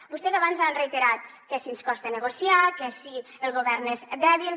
vostès abans han reiterat que si ens costa negociar que si el govern és dèbil